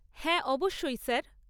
হ্যাঁ অবশ্যই, স্যার।